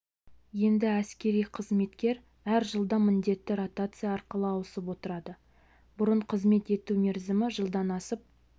енді әскери қызметкер әр жылда міндетті ротация арқылы ауысып отырады бұрын қызмет ету мерзімі жылдан асып